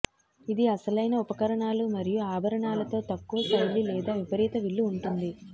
ఇది అసలైన ఉపకరణాలు మరియు ఆభరణాలతో తక్కువ శైలి లేదా విపరీత విల్లు ఉంటుంది